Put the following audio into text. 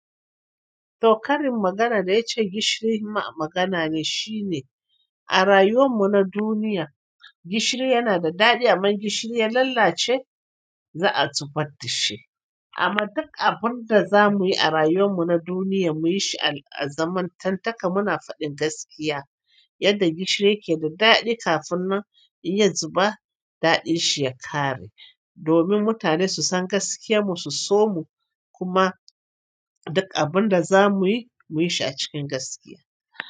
To karin maganar da ya ce gishiri ma magana ne shine, a rayuwan mu na duniya gishiri yana da daɗi amma gishiri ya lalace za a zubar da shi. Amma duk abunda za muyi a rayuwar mu na duniya mu yi shi a zamantantaka muna faɗin gaskiya yadda gishiri ke da daɗi kafin nan inya zuba daɗin shi ya ƙare. Domin mutane su san gaskiyar mu su so mu kuma duk abun da za muyi muyi shi a cikin gaskiya.